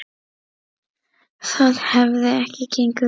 Það hefði ekki gengið upp.